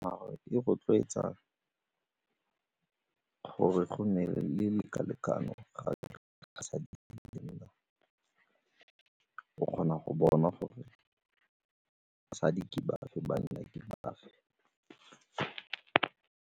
Gore e rotloetsa gore go nne le o kgona go bona gore basadi ke bafe, banna ke bafe.